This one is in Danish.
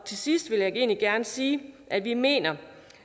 til sidst vil jeg egentlig gerne sige at vi mener